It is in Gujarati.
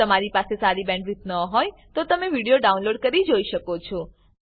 જો તમારી પાસે સારી બેન્ડવિડ્થ ન હોય તો તમે વિડીયો ડાઉનલોડ કરીને જોઈ શકો છો